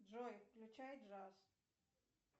джой включай джаз